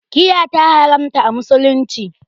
Giya ta haramta a musulunci